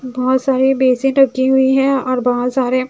बहोत सारी बेसिट रखी हुई है और बहोत सारे--